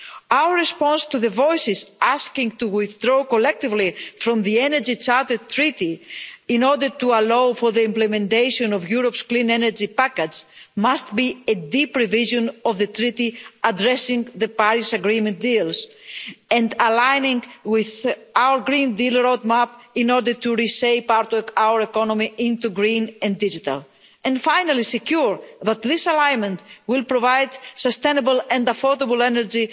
Our response to the voices asking to withdraw collectively from the Energy Charter Treaty, in order to allow for the implementation of Europe's clean energy package, must be a deep revision of the Treaty, addressing the Paris Agreement deals and aligning with our Green Deal road map, in order to reshape our economy into green and digital, and finally secure that this alignment will provide sustainable and affordable energy